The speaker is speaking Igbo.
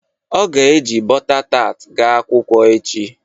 O ga-e ji bọta tat ga akwụkwọ echi.